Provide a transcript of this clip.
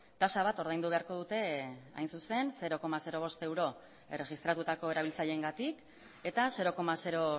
tasa bat ordaindu beharko dute hain zuzen zero koma bost euro erregistratutako erabiltzaileengatik eta zero koma